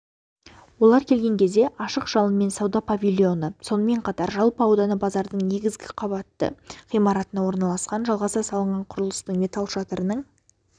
олар келген кезде ашық жалынмен сауда павильоны сонымен қатар жалпы ауданы базардың негізгі қабатты ғимаратына орналасқан жалғаса салынған құрылыстың металл шатырының